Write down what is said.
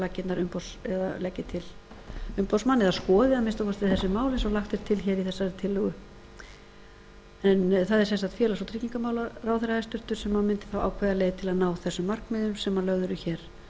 laggirnar leggi til umboðsmann eða skoði að minnsta kosti þessi mál eins og lagt er til hér í þessari tillögu það er sem sagt félags og tryggingamálaráðherra hæstvirts sem mundi þá ákveða leið til þess að ná þessum markmiðum sem lögð eru hér